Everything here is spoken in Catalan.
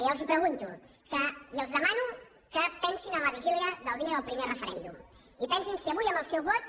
i els pregunto i els demano que pensin en la vigília del dia del primer referèndum i pensin si avui amb el seu vot